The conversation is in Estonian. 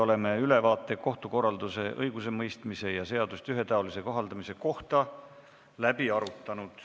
Oleme ülevaate kohtukorralduse, õigusemõistmise ja seaduste ühetaolise kohaldamise kohta läbi arutanud.